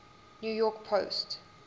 new york post